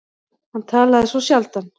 Hann talaði svo sjaldan.